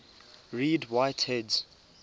read write heads